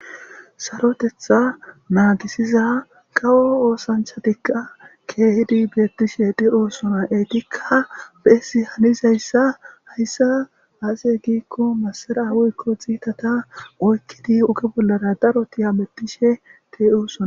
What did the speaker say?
sarotetha naagisiza kawo oosanchatikka keehidi beettishe de oosona eetikka beesi hanizayssa hayssa aase giikko masara awuykko xiitata oykkidi uge bollara darotiya mettishe dey oosona